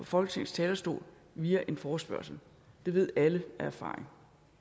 folketingets talerstol via en forespørgsel det ved alle af erfaring